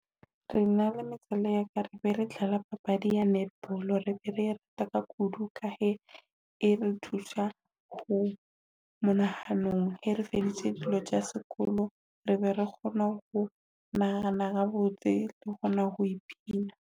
Re na le yaka rebe re dlala papadi ya netball, re ne re e rata ka kudu ka ha e re thusa kudu monahanong. E re feditse dilo tsa sekolo re be re kgone ho nahana habotse re kgona ho pina.